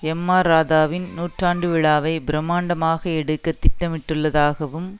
M R ராதாவின் நூற்றாண்டு விழாவை பிரமாண்டமாக எடுக்க திட்டமிட்டுள்ளதாகவும்